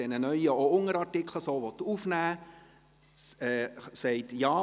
Der Absatz 1 des Artikels 21 hiesse jetzt: